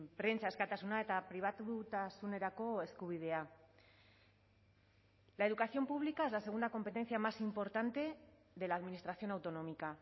prentsa askatasuna eta pribatutasunerako eskubidea la educación pública es la segunda competencia más importante de la administración autonómica